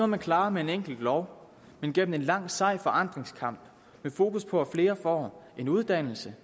man klarer med en enkelt lov men gennem en lang sej forandringskamp med fokus på at flere får en uddannelse